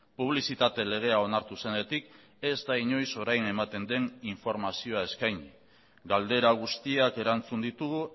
publizitate legea onartu zenetik ez da inoiz orain ematen den informazioa eskaini galdera guztiak erantzun ditugu